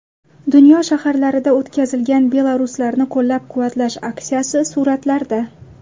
Dunyo shaharlarida o‘tkazilgan belaruslarni qo‘llab-quvvatlash aksiyasi suratlarda.